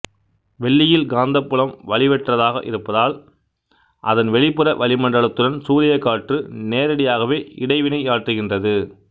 வெள்ளியில் காந்தப்புலம் வலிவற்றதாக இருப்பதால் அதன் வெளிப்புற வளிமண்டலத்துடன் சூரியக்காற்று நேரடியாகவே இடைவினையாற்றுகின்றது